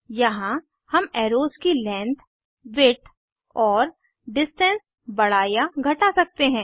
यहाँ हम एर्रोस की लेंथ विड्थ और डिस्टेंस बड़ा या घटा सकते हैं